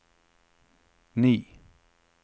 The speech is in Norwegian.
ni